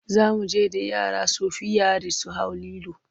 Za mu je da yara shofirayit su hau lilo.